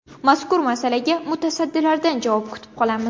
Mazkur masalaga mutasaddilardan javob kutib qolamiz.